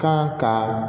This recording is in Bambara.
Kan ka